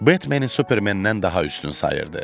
Batmanı Supermənndən daha üstün sayırdı.